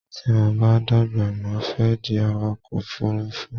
Tí mo bá dàgbà mo fẹ́ di awakọ̀ ọkò òfurufú